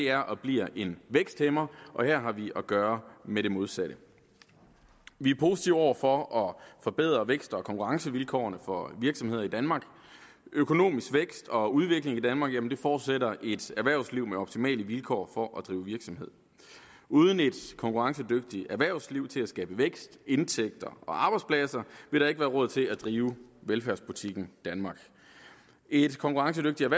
er og bliver en væksthæmmer og her har vi at gøre med det modsatte vi er positive over for at forbedre vækst og konkurrencevilkårene for virksomheder i danmark økonomisk vækst og udvikling i danmark forudsætter et erhvervsliv med optimale vilkår for at drive virksomhed uden et konkurrencedygtigt erhvervsliv til at skabe vækst indtægter og arbejdspladser vil der ikke være råd til at drive velfærdsbutikken danmark et konkurrencedygtigt